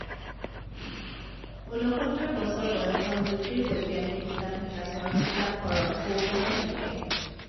ঊনসত্তৰ বছৰ বয়সত জ্যোতিৰ্বৈজ্ঞানিক হিচাব নিকাচৰ কিতাপ কৰণ কৌতহল লিখে